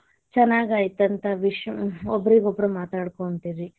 ಚೆನ್ನಾಗಾಯಿತಂತ ಅಂತ ಒಬ್ರಿಗೊಬ್ಬರು ಮಾತಾಡಕೊಂತೀವಿ.